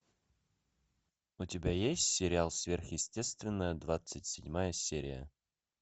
у тебя есть сериал сверхъестественное двадцать седьмая серия